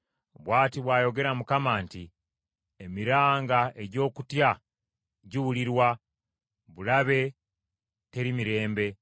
“Bw’ati bw’ayogera Mukama nti, “ ‘Emiranga egy’okutya giwulirwa, bulabe teri mirembe.